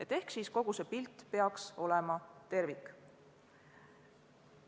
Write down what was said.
Niisiis peaks kogu see pilt olema tervik.